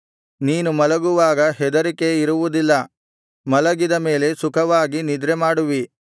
ನೀನು ಮಲಗುವಾಗ ಹೆದರಿಕೆ ಇರುವುದಿಲ್ಲ ಮಲಗಿದ ಮೇಲೆ ಸುಖವಾಗಿ ನಿದ್ರೆಮಾಡುವಿ